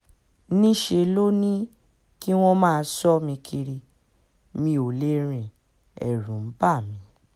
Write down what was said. níṣẹ́ ló ní kí wọ́n máa sọ mí kiri mi ò lè rìn ẹ̀rù ń bà mí